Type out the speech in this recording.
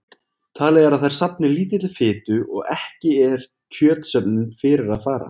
Talið er að þær safni lítilli fitu og ekki er kjötsöfnun fyrir að fara.